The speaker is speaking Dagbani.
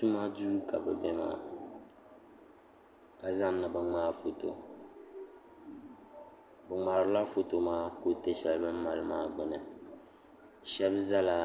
tʋma duu ka bɛ be maa ka zani ni bɛ ŋmaa foto bɛ ŋmaarila foto maa kuriti sheli bini mali maa gbini shebi zala